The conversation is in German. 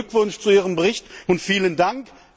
Herzlichen Glückwunsch zu Ihrem Bericht und vielen Dank!